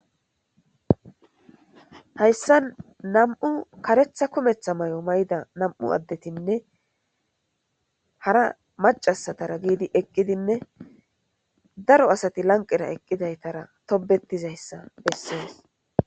Hayssan nam'u karetha kumetha may'o may'da nam'u addetinne hara macasatara giidi eqqidinne daro asati lanqera eqqidaytara tobetizayssa bessees.